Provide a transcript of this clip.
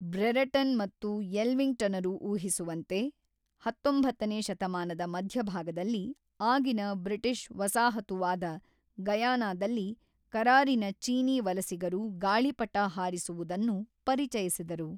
Brereton ಮತ್ತು ಯೆಲ್ವಿಂಗ್‌ಟನರು ಊಹಿಸುವಂತೆ ಹತೊಂಬತ್ತನೇ ಶತಮಾನದ ಮಧ್ಯಭಾಗದಲ್ಲಿ ಆಗಿನ ಬ್ರಿಟಿಷ್ ವಸಾಹತುವಾದ ಗಯಾನಾದಲ್ಲಿ ಕರಾರಿನ ಚೀನೀ ವಲಸಿಗರು ಗಾಳಿಪಟ ಹಾರಿಸುವುದನ್ನು ಪರಿಚಯಿಸಿದರು.